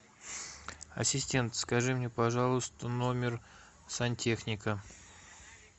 ассистент скажи мне пожалуйста номер сантехника